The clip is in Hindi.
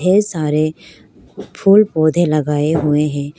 कई सारे फूल पौधे लगाए हुए हैं।